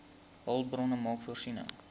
hulpbronne maak voorsiening